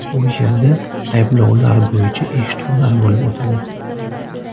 U yerda ayblovlar bo‘yicha eshituvlar bo‘lib o‘tadi.